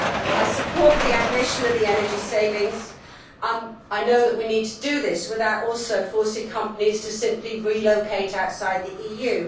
I support the ambition of energy savings, and I know that we need to do this without also forcing companies to simply relocate outside the EU.